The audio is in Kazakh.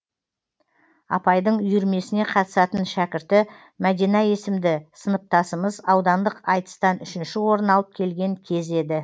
апайдың үйірмесіне қатысатын шәкірті мәдина есімді сыныптасымыз аудандық айтыстан үшінші орын алып келген кез еді